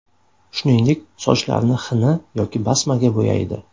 Shuningdek, sochlarini xina yoki basmaga bo‘yaydi.